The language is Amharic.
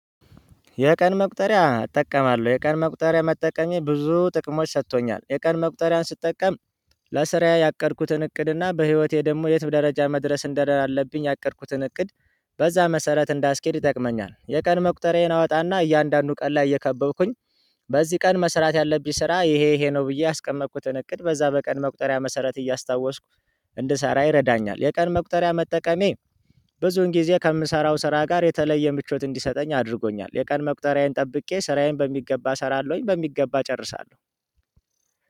የቀን መቁጠሪያ እጠቀማለሁ የቀን መቁጠሪያ መጠቀሜ ብዙ ጥቅሞች ሰጥቶኛል። የቀን መቁጠሪያን ስትጠቀም ለስራ ያቀድኩትን እቅድና በህይወቴ ደግሞ የትም ደረጃ መድረስ እንደአለብኝ ያቀድኩትን እቅድ በዛ መሰረት እንዳስኬድ ይጠቅመኛል። የቀን መቁጠሪያዬን አወጣና እያንዳንዱ ቀን ላይ እየከበብኩኝ በዚህ ቀን መስራት ያለብኝ ስራ ይሄ ይሄ ነው ብዬ ያስቀመጥኩትን እቅድ በዛ በቀን መቁጠሪያ መሰረት እያስታወስኩ እንድሰራ ይረዳኛል። የቀን መቁጠሪያ መጠቀሜ ብዙን ጊዜ ከምሰራው ስራ ጋር የተለየ ምቾት እንዲሰጠኝ አድርጎኛል። የቀን መቁጠሪያዬን ጠብቄ ስራዬን በሚገባ እሰራለሁኝ በሚገባ እጨርሳለሁ።